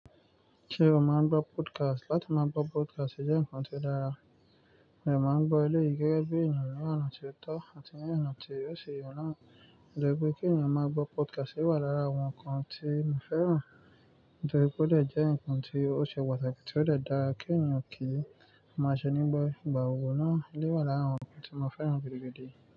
Ṣé o máa ń gbọ́ podcast? Látí máa gbọ́ podcast jẹ́ ǹkan tó dára, mo de máa ń gbọ́ eleyii gege bi eniyan ní ọ̀nà tó tọ́ àti ní ọ̀nà tí ó ṣi ye na. O je wipe kí èèyàn máa gbọ́ podcast wà lára àwọn ǹkan tí mi fẹ́ràn. Nítorí pé ó jẹ́ ǹkan ti o ṣe pàtàkì tí ó dà dáa kí èèyàn kí ó máa ṣe nígbà gbogbo náà. Eleyii wà lára àwọn ǹkan tí mo fẹ́ràn gidi gan.